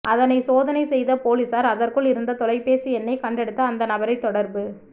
அதனை சோதனை செய்த பொலிசார் அதற்குள் இருந்த தொலைபேசி எண்ணை கண்டெடுத்து அந்த நபரை தொடர்பு